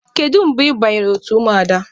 Kedụ mgbe ị banyere otu Ụmụada?